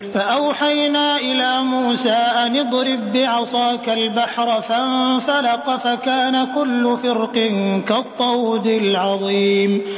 فَأَوْحَيْنَا إِلَىٰ مُوسَىٰ أَنِ اضْرِب بِّعَصَاكَ الْبَحْرَ ۖ فَانفَلَقَ فَكَانَ كُلُّ فِرْقٍ كَالطَّوْدِ الْعَظِيمِ